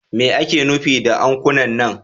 Me ake nufi da ankuna nan?